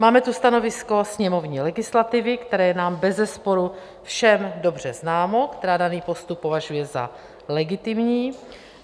Máme tu stanovisko sněmovní legislativy, které je nám bezesporu všem dobře známo, která daný postup považuje za legitimní.